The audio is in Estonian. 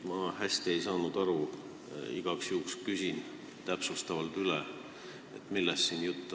Ma ei saanud hästi aru ja küsin igaks juhuks täpsustavalt üle, millest on jutt.